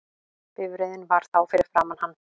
Bifreiðin var þá fyrir framan hann